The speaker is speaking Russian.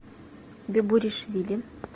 бебуришвили